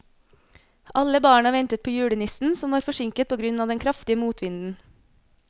Alle barna ventet på julenissen, som var forsinket på grunn av den kraftige motvinden.